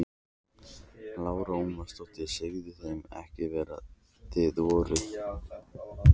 Lára Ómarsdóttir: Sögðuð þið þeim ekki hver þið voruð?